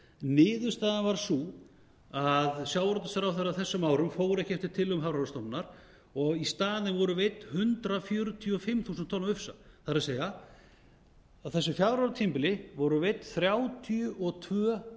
niðurstaðan varð sú að sjávarútvegsráðherra á þessum árum fór ekki eftir tillögum hafrannsóknastofnunar og í staðinn voru veidd hundrað fjörutíu og fimm þúsund tonn af ufsa það er að á þessu fjögra ára tímabili voru veidd þrjátíu og tvö